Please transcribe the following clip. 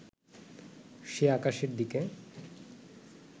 সে আকাশের দিকে